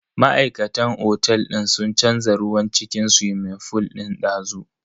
Ma'aikatan otel din sun canza ruwan cikin swimming fool din dazu.